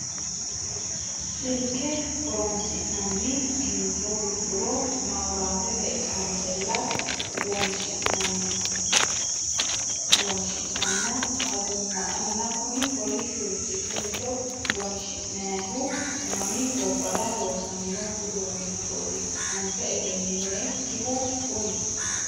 Silke horonsi'nanna kincho gudduro mawuuratete qansella wonshi'nanna agumma anina Kuni kolishurichi gincho wonshi'nayihu mami gobbara loosamino uduunnichoti anfe egeninoyikihu Kuni?